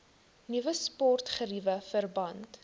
nuwe sportgeriewe verband